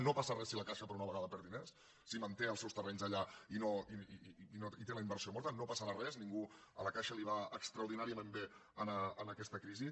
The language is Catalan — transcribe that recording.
no passa res si la caixa per una vegada perd diners si manté els seus terrenys allà i té la inversió morta no passarà res a la caixa li va extraordinàriament bé aquesta crisi